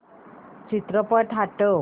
चित्रपट हटव